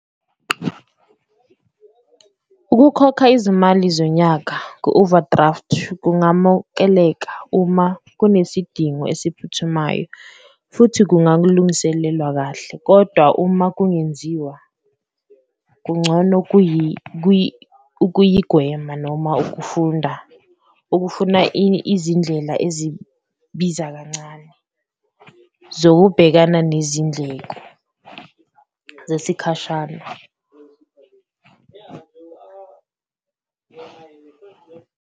Ukukhokha izimali zonyaka ku-overdraft kungamukeleka uma kunesidingo esiphuthumayo futhi kungakulungiselelwa kahle, kodwa uma kungenziwa kungcono ukuyigwema noma ukufunda, okufuna izindlela ezibiza kancane zokubhekana nezindleko zesikhashana.